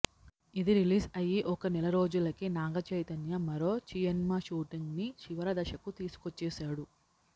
ఇది రిలీజ్ అయ్యి ఒక నెల రోజులకే నాగ చైతన్య మరో చిఎన్మా షూటింగ్ ని చివరి దశకు తీసుకోచ్చేసాడు